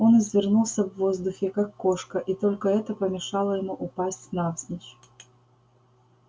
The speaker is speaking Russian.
он извернулся в воздухе как кошка и только это помешало ему упасть навзничь